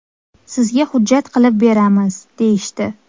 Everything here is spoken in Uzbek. Sizga hujjat qilib beramiz, deyishdi.